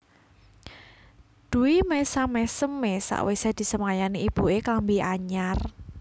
Dwi mesam mesem e sakwise disemayani ibue klambi anyar